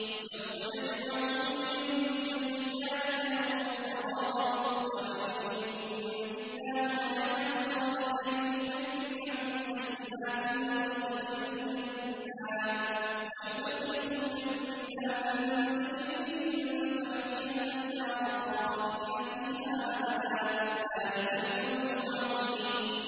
يَوْمَ يَجْمَعُكُمْ لِيَوْمِ الْجَمْعِ ۖ ذَٰلِكَ يَوْمُ التَّغَابُنِ ۗ وَمَن يُؤْمِن بِاللَّهِ وَيَعْمَلْ صَالِحًا يُكَفِّرْ عَنْهُ سَيِّئَاتِهِ وَيُدْخِلْهُ جَنَّاتٍ تَجْرِي مِن تَحْتِهَا الْأَنْهَارُ خَالِدِينَ فِيهَا أَبَدًا ۚ ذَٰلِكَ الْفَوْزُ الْعَظِيمُ